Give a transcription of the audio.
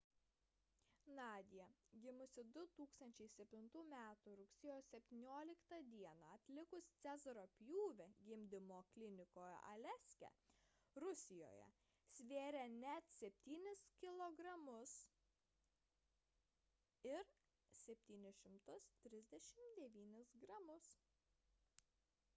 nadia gimusi 2007 m rugsėjo 17 d atlikus cezario pjūvį gimdymo klinikoje aleiske rusijoje svėrė net 7 kilogramus 739 gramus